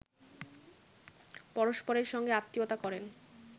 পরস্পরের সঙ্গে আত্মীয়তা করেন